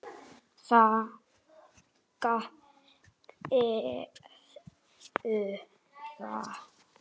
Þeir gerðu það.